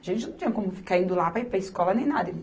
A gente não tinha como ficar indo lá para ir para a escola nem nada.